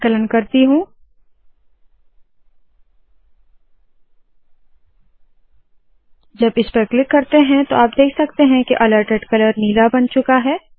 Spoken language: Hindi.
संकलन करती हूँ जब मैं इसे क्लिक करती हूँ आप देख सकते है के अलर्टेड कलर नीला बन चूका है